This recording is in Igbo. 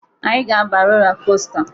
Anyị ga-aba rola kosta.